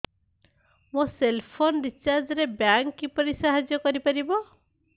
ମୋ cell phone recharge ରେ bank କିପରି ସାହାଯ୍ୟ କରିପାରିବ